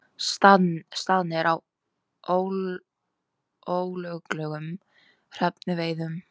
Staðnir að ólöglegum hrefnuveiðum